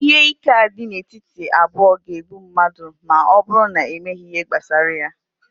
ihe ike a dị n'etiti abụọ ga-egbu mmadụ ma ọ bụrụ na emeghị ihe gbasara ya